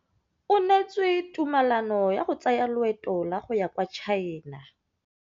O neetswe tumalanô ya go tsaya loetô la go ya kwa China.